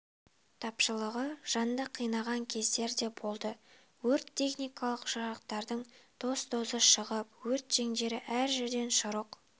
тапшылығы жанды қинаған кездер де болды өрт-техникалық жарақтардың тоз-тозы шығып өрт жеңдері әр жерден шұрық